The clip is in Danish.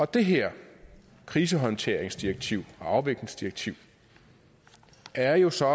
det her krisehåndteringsdirektiv og afviklingsdirektiv er jo så